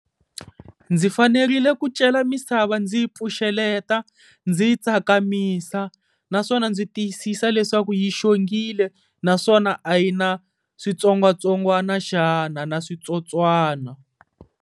Ndzi fanerile ku cela misava ndzi yi pfuxeleta, ndzi yi tsakamisa naswona ndzi tiyisisa leswaku yi xongile naswona a yi na switsongwatsongwana xana na switsotswana.